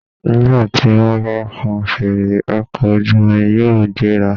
Nígbà tí wọ́n bá fọn fèrè, ọkọ̀ ojú omi yóò gbéra.